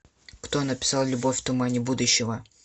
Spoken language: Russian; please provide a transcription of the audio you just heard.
кто написал любовь в тумане будущего